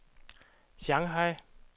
Shanghai